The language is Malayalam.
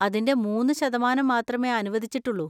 അതിന്‍റെ മൂന്ന് ശതമാനം മാത്രമേ അനുവദിച്ചിട്ടുള്ളൂ.